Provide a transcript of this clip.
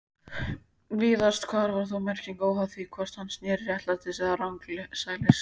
Víðast hvar var þó merking óháð því hvort hann sneri réttsælis eða rangsælis.